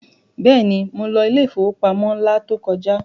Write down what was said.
Bẹ́ẹ̀ni, mo lọ ilé ìfowópamọ́ la tó kọjá.